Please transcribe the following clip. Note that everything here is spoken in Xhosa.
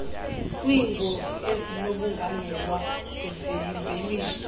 kwiingozi ezinokubangelwa yimveliso